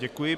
Děkuji.